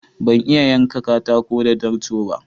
Ban iya yanka katako da darto ba.